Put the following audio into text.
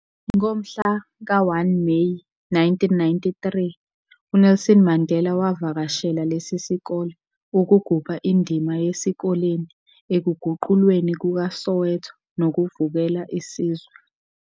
Ngomhla ka-1 Meyi 1993, uNelson Mandela wavakashela lesi sikole ukugubha indima yesikoleni ekuguqulweni kukaSoweto nokuvukela isizwe.